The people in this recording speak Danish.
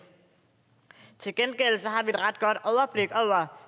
til gengæld har